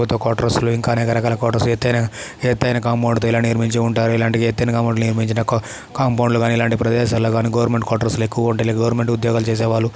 ఎతైన మరియు రకరకాల క్వార్టర్స్ ఎత్తైన కాంపౌండ్ తో నిర్మించి ఉంటారుఇలాంటి ఎత్తైన కాంపౌండ్ లో నిర్మించిన కాంపౌండ్ లో గాని ఇలాంటి ప్రదేశాల్లో గానే గవర్నమెంట్ క్వార్టర్స్ లో ఎక్కువగా ఉంటారు గవర్నమెంట్ ఉద్యోగాలు చేసే వాళ్--